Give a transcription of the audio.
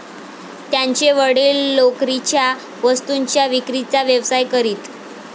त्यांचे वडील लोकरीच्या वस्तूंच्या विक्रीचा व्यवसाय करीत.